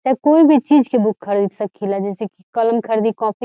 चाहे कोई भी चीज के बुक खरीद सकीला जैसे कलम खरीदी काॅपी --